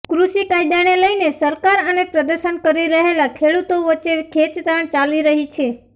કૃષિ કાયદાને લઇને સરકાર અને પ્રદર્શન કરી રહેલા ખેડૂતો વચ્ચે ખેંચતાણ ચાલી રહી છે